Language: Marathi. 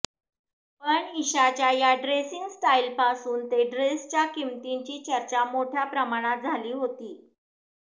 पण ईशाच्या या ड्रेसिंग स्टाइलपासून ते ड्रेसच्या किंमतीची चर्चा मोठ्या प्रमाणात झाली होती